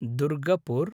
Durgapur